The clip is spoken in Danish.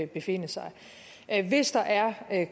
befinde sig hvis der er